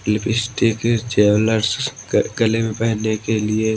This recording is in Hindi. लीबीस्टिक जैवलेर्स स गले में पहनने के लिए--